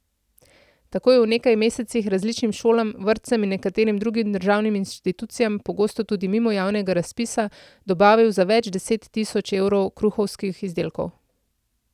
Tako je v nekaj mesecih različnim šolam, vrtcem in nekaterim drugim državnim institucijam, pogosto tudi mimo javnega razpisa, dobavil za več deset tisoč evrov kruhovskih izdelkov.